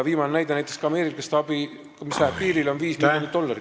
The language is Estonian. Viimaseks näiteks võiks tuua ameeriklaste abi, mis läheb piirile, see on viis miljonit dollarit.